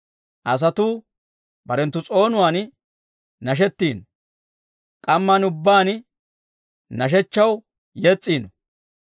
Asatuu barenttu s'oonuwaan nashetino; k'amman ubbaan nashshechchaw yes's'ino.